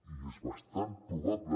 i és bastant probable